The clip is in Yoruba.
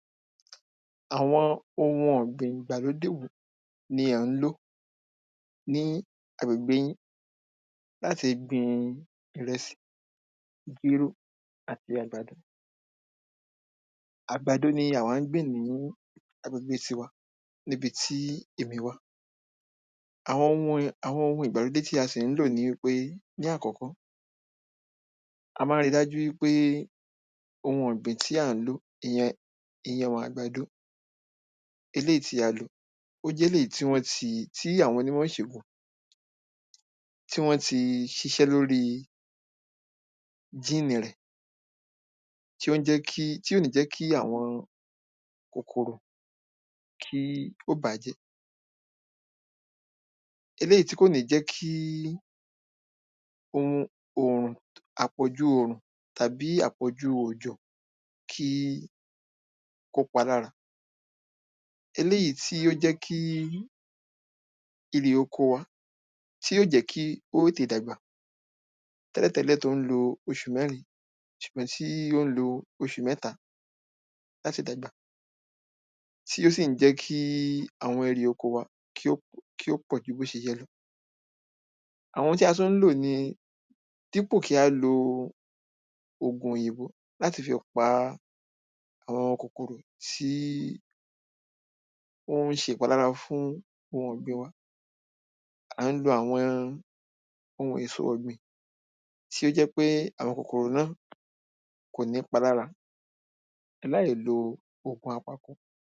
Àwọn ohun ọ̀gbìn ìgbàlódé wo ni à ń ló ní agbègbè yín láti gbin ìrẹsì, jéró àti àgbàdo? Àgbàdo ni àwa ń gbìn ní agbègbè tiwa níbi tí èmi wà. Àwọn ohun, àwọn ohun ìgbàlódé tí a sì ń lò ni wí pé ní àkọ́kọ́, a máa ń ri dájú wí pé ohun ọ̀gbìn tí à ń ló ìyẹn, ìyẹn àgbàdo eléyì tí a lò, ó jéléyìí tí wọ́n ti, tí àwọn onímọ̀ ìṣègùn tí wọ́n ti ṣiṣẹ́ lórí gínì rẹ̀, tí ó ń jẹ́ kí, tí ò ní jẹ́ kí àwọn kòkòrò kí ó bà á jẹ́, eléyìí tí kò ní jẹ́ kí orun òrùn àpọ̀jù òrùn tàbí àpọ̀jù òjò kí kó pa lára eléyìí tí ó jẹ́ kí erè oko wa, tí yó jẹ́ kí ó tètè dàgbà tẹ́lẹ̀tẹ́lẹ̀ tó ń lo oṣù mẹ́rin ṣùgbọ́n tí ó ń lo oṣù mẹ́ta láti dàgbà tí ó sì ń jẹ́ kí àwọn erè oko wa kí ó, kí ó pọ̀ ju bó ṣe yẹ lọ. àwọn ohun tí a tún ń lò ni dípò kí á lo ògùn òyìnbó láti fi pa àwọn kòkòrò tí ó ń ṣe ìpalára fún ohun ọ̀gbìn wa, à ń lo àwọn ohun èso ọ̀gbìn tí ó jẹ́ ń pé àwọn kòkòrò náà kò ní pa lára láì lo ògùn apako.